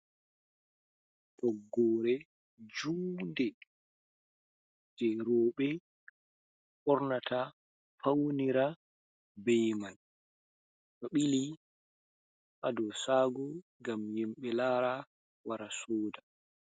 Toggore juunde je rowɓe ɓornata, faunira be man, ɗo bili ha do shago ngam himɓe lara wara soda.